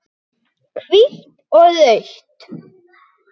Hvítt og rautt.